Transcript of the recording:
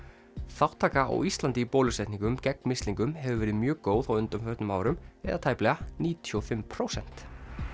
þátttaka á Íslandi í bólusetningu gegn mislingum hefur verið mjög góð á undanförnum árum eða tæplega níutíu og fimm prósent